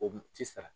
O ti sara